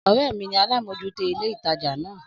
Ọ̀rẹ́ mi ni alámòjútó ilé ìtajà na